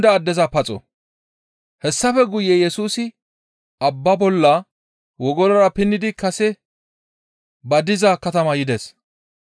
Hessafe guye Yesusi abba bolla wogolora pinnidi kase ba diza katama yides.